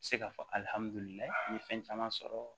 Se ka fɔ n ye fɛn caman sɔrɔ